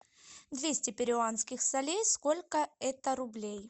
двести перуанских солей сколько это рублей